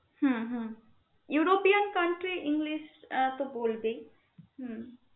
হম European country English আহ তো বলবে হম